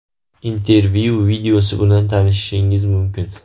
Intervyu videosi bilan tanishishingiz mumkin.